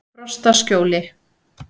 Frostaskjóli